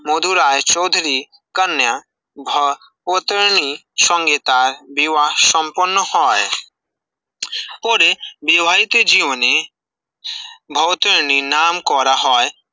মধুরই চৌধরি কন্যা ভ ভৌতরণী সঙ্গে তার তার বিবাহ সপণ্য হয়ে, ওদের বিবাহিতে জীবনে ভৌতরণী নাম করা